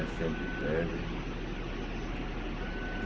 É sempre breve.